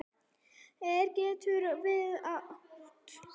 Ver getur átt við